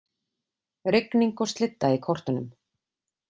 Rigning og slydda í kortunum